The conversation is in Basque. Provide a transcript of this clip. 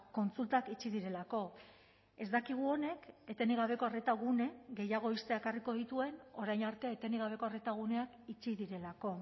kontsultak itxi direlako ez dakigu honek etenik gabeko arreta gune gehiago ixtea ekarriko dituen orain arte etenik gabeko arreta guneak itxi direlako